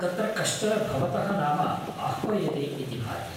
तत्र कश्चन भवतः नाम आह्वयते इति भाति।